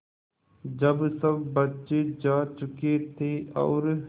जब सब बच्चे जा चुके थे और